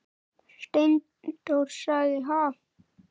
Steindór sagði: Ha?